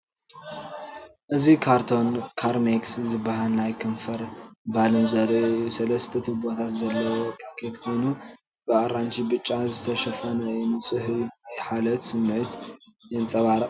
እዚ ካርቶን “ካርሜክስ” ዝበሃል ናይ ከንፈር ባልም ዘርኢ እዩ። ሰለስተ ቱቦታት ዘለዎ ፓኬት ኮይኑ፡ ብኣራንሺን ብጫን ዝተሸፈነ እዩ። ንጹህ እዩ፤ ናይ ሓልዮት ስምዒት የንጸባርቕ።